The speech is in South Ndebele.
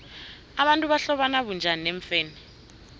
abantu bahlobana bunjani neemfene